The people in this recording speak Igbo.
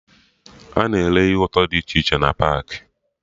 Ana ere ihe ụtọ dị iche iche na paakị